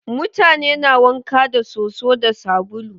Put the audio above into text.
Mutane na wanka da soso da sabulu.